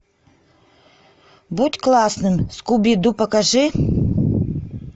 будь классным скуби ду покажи